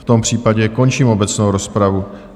V tom případě končím obecnou rozpravu.